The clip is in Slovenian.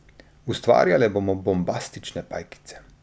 Ustvarjale bomo bombastične pajkice.